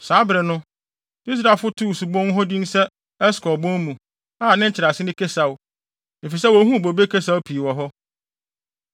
Saa bere no, Israelfo no too subon hɔ din sɛ “Eskol bon mu” a nkyerɛase ne “Kasiaw,” efisɛ wohuu bobe kasiaw pii wɔ hɔ.